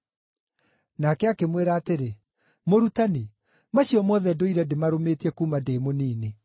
Nake akĩmwĩra atĩrĩ, “Mũrutani, macio mothe ndũire ndĩmarũmĩtie kuuma ndĩ mũnini.”